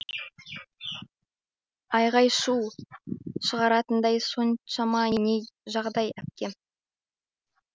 айғай шу шығаратындай соншама не жағдай әпке